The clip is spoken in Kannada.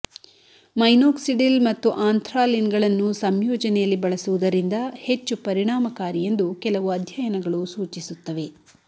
ಮೈನೋಕ್ಸಿಡಿಲ್ ಮತ್ತು ಆಂಥ್ರಾಲಿನ್ಗಳನ್ನು ಸಂಯೋಜನೆಯಲ್ಲಿ ಬಳಸುವುದರಿಂದ ಹೆಚ್ಚು ಪರಿಣಾಮಕಾರಿ ಎಂದು ಕೆಲವು ಅಧ್ಯಯನಗಳು ಸೂಚಿಸುತ್ತವೆ